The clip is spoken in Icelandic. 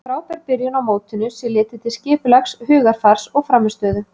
En frábær byrjun á mótinu sé litið til skipulags, hugarfars og frammistöðu.